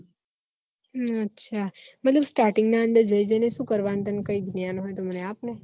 હમ અચ્છા મતલબ starting અંદર જઈને શું કરવાનું તને કઈ જ્ઞાન હોય તો મન આપ ને